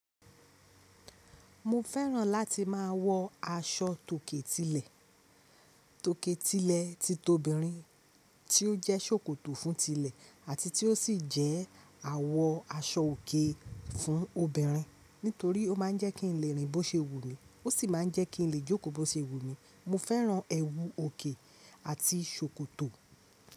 Mo fẹ́ràn láti máa wọ aṣọ tòkè tilẹ̀, tòkè tilẹ̀ ti tobìnrin tí ó jẹ́ ṣòkòtò fún tilẹ̀ àti tí ó sì jẹ́ àwọ̀ aṣọ òkè fún obìnrin nítorí ó máa ń jẹ́ kí n lè rìn bó ṣe wù mí. Ó sì máa ń jẹ́ kí n lè jókòó bó ṣe wù mí. Mo fẹ́ràn ẹwu òkè àti ṣòkòtò.